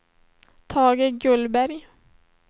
Tage Gullberg